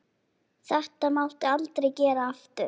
Þetta máttu aldrei gera aftur!